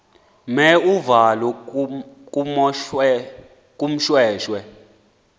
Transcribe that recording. mer uvalo kumoshweshwe